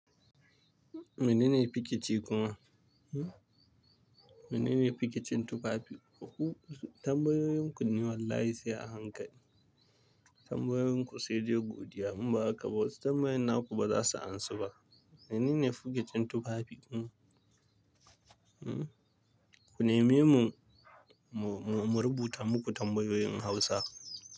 Menene pikici kuma? Menene pikicin tufafi? Tambayoyin ku ni wallahi sai a hankali. Tambayoyin ku sai dai godiya in ba haka ba wasu tambayoyin naku ba za su ansu ba. Menene pikicin tufafi? Ku neme mu, mu, mu, mu rubuta muku tambayoyin Hausa.